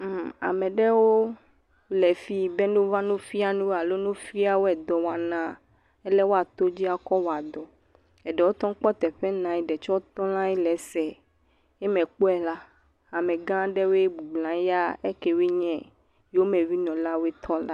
Ame ɖewo le fi be ne wova wofia nu wo alo ne wofia wo dɔwɔna, ale woato dzi atɔ wɔa dɔ, eɖewo te kpɔ teƒe nɔ anyi, eɖewo tsɛ tɔ ɖe anyi le esee, yi mekpɔe la, amegã aɖewoe bɔbɔ nɔ anyi, ya ekewoe nye yomevinɔlawo tɔ la…